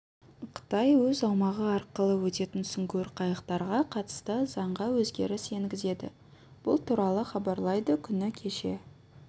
қытай өз аумағы арқылы өтетін сүңгуір қайықтарға қатысты заңға өзгеріс енгізеді бұл туралы хабарлайды күні кеше